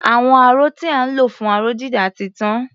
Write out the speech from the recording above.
Àwọn aró tí à ń lò fún aró-dídà ti tán.